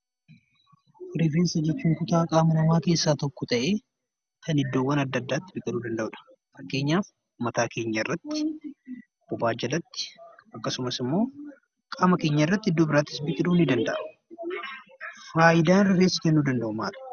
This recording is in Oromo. Rifeensa jechuun kutaa qaama namaa keessaa tokko ta'ee kan iddoowwan adda addaatti biqiluu danda'udha. Fakkeenyaf mataa keenyarratti, bobaa jalatti akkasumas immoo qaama keenyarratti iddoo biraattis biqiluu ni danda'a. Faayidaan rifeensi kennuu danda'u maali?